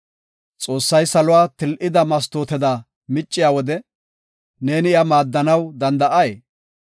Xoossay saluwa til7ida mastooteda micciya wode, neeni iya maaddanaw danda7ay?